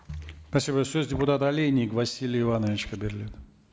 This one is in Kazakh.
спасибо сөз депутат олейник василий ивановичке беріледі